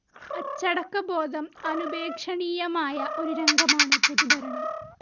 അച്ചടക്കബോധം അനുപേക്ഷണീയമായ ഒരു രംഗമാണ് പൊതുഭരണം.